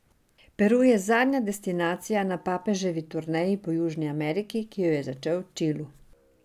Peru je zadnja destinacija na papeževi turneji po Južni Ameriki, ki jo je začel v Čilu.